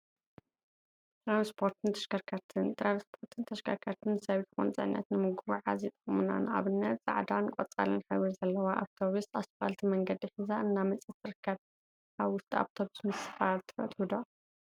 ትራንስፖርትን ተሽከርከርቲን ትራንስፖርትን ተሽከርከርቲን ሰብ ይኩን ፅዕነት ንምጉዕዓዝ ይጠቅሙና፡፡ ንአብነት ፃዕዳን ቆፃልን ሕብሪ ዘለዋ አውቶቢሰ እስፓልት መንገዲ ሒዛ እናመፀት ትርከብ፡፡ አብ አውቶቢስ ምስፋር ትፈትው ዶ?